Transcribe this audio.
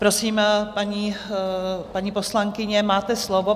Prosím, paní poslankyně, máte slovo.